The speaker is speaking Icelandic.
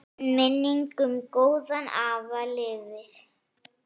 Minning um góðan afa lifir.